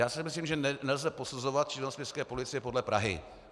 Já si myslím, že nelze posuzovat činnost městské policie podle Prahy.